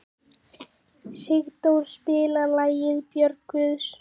Sigdór, spilaðu lagið „Börn Guðs“.